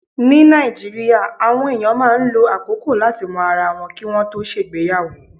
Ní Nàìjíríà, àwọn èèyàn máa ń lo àkókò láti mọ ara wọn kí wọ́n tó ṣègbéyàwó.